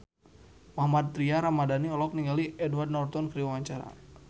Mohammad Tria Ramadhani olohok ningali Edward Norton keur diwawancara